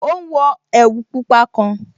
Ó ún wọ ẹ̀wù pupa kan